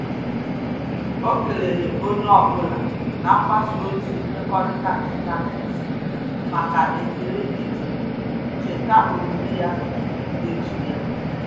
O keleere onye ọ bụla na mgbasa ozi mmekọrịta ịntanetị maka ekele ije cheta ọmụmụ ya n’ututu echi ya.